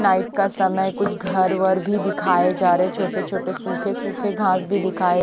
night का समय कुछ घर वर भी दिखाये जा रहे छोटे छोटे सूखे सूखे घास भी दिखाए--